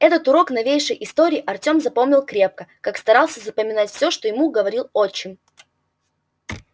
этот урок новейшей истории артём запомнил крепко как старался запоминать всё что ему говорил отчим